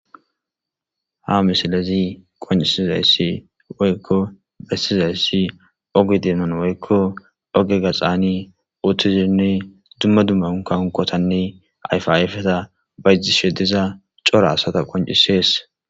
Ha missilezi qonc'isizaysi woyko besizaysi oge donan woyko oge gaxani utidine duma duma unka unkotanne ayfa ayfeta bayzishe diza c'ora asata qonc'ses.